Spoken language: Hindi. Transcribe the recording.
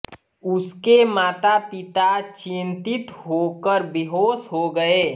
उसके माता पिता चिंतित होकर बेहोश हो गए